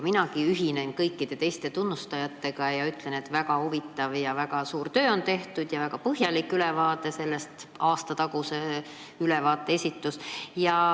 Minagi ühinen kõikide teiste tunnustajatega ja ütlen, et väga huvitav ja väga suur töö on tehtud ning on esitatud väga põhjalik eelmise aasta ülevaade.